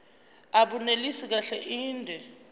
abunelisi kahle inde